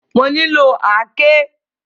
Mo nílò àáké.